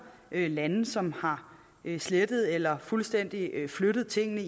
lande som har slettet eller fuldstændig flyttet tingene